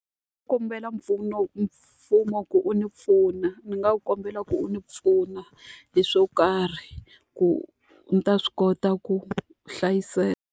Ndzi nga kombela mfumo ku wu ni pfuna, ni nga kombela wu ndzi pfuna hi swo karhi ku ni ta swi kota ku hlayiseka.